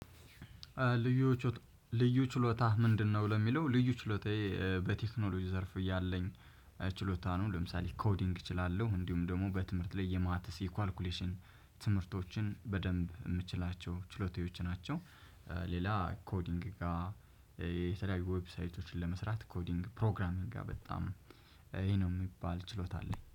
ልዩ ችሎታ ምንድነው ለሚለው ልዩ ችሎታዬ በቴክኖሎጂ ዘርፍ ያለኝ ችሎታ ነው ለምሳሌ ኮዲንግ እችላለሁ እንዲሁም ደግሞ በትምህርት ላይ የማተስ የኳልኩሌሽን ትምህርቶችን በደንብ የምችላቸው ችሎታዎች ናቸው። ሌላ ኮዲንግ ጋር የተለያዩ ዌብሳይቶችን ለመስራት ኮዲንግ ፕሮግራሚግ ጋ በጣም ይሄ ነው የሚባል ችሎታ አለኝ።